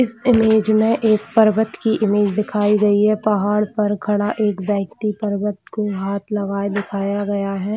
इस इमेज में एक पर्वत की इमेज दिखाई गयी है पहाड़ पर खड़ा एक व्यक्ति पर्वत को हाथ लगाया दिखाया गया है।